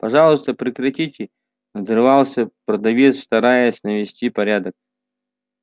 пожалуйста прекратите надрывался продавец стараясь навести порядок